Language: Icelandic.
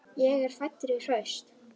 Ég er fæddur í Horst.